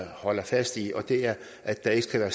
holder fast i og det er at der ikke skal være